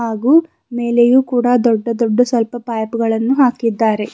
ಹಾಗೂ ಮೇಲೆಯು ಕೂಡ ದೊಡ್ಡ ದೊಡ್ಡ ಸ್ವಲ್ಪ ಪೈಪ್ಗ ಳನ್ನು ಹಾಕಿದ್ದಾರೆ.